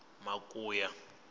makuya